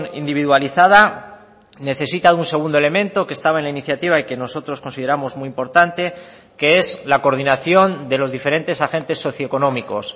individualizada necesita un segundo elemento que estaba en la iniciativa y que nosotros consideramos muy importante que es la coordinación de los diferentes agentes socioeconómicos